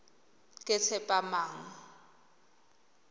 ketshepamang